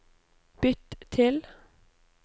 bytt til